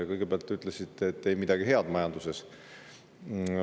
Kõigepealt te ütlesite, et majanduses ei ole midagi head.